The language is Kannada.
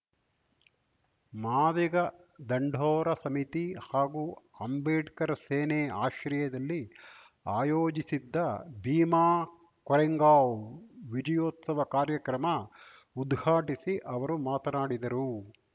ಮಾದಿಗ ದಂಡೋರ ಸಮಿತಿ ಹಾಗೂ ಅಂಬೇಡ್ಕರ್‌ ಸೇನೆ ಆಶ್ರಯದಲ್ಲಿ ಆಯೋಜಿಸಿದ್ದ ಭೀಮಾ ಕೊರೆಂಗಾವ್‌ ವಿಜಯೋತ್ಸವ ಕಾರ್ಯಕ್ರಮ ಉದ್ಘಾಟಿಸಿ ಅವರು ಮಾತನಾಡಿದರು